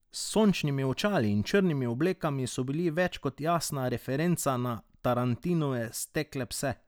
S sončnimi očali in črnimi oblekami so bili več kot jasna referenca na Tarantinove Stekle pse.